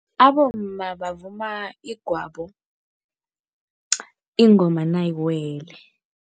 Abomma bavuma igwabo ingoma nayiwele.